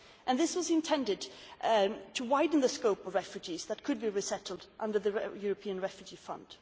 This was intended to widen the scope of refugees that could be resettled under the European Refugee Fund.